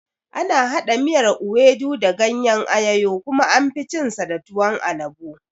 Ana haɗa miyar ewedu da gayen ayoyo kuma anfi cin shi da tuwon alabo